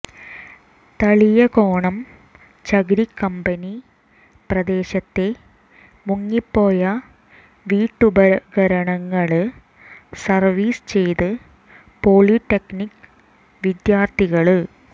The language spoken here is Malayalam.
തളിയക്കോണം ചകിരി കമ്പനി പ്രദേശത്തെ മുങ്ങിപ്പോയ വീട്ടുപകരണങ്ങള് സര്വ്വീസ് ചെയ്ത് പോളിടെക്നിക്ക് വിദ്യാര്ത്ഥികള്